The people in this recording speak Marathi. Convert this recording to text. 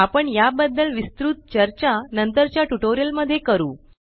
आपण या बद्दल विस्तृत चर्चा नंतरच्या ट्यूटोरियल मध्ये करू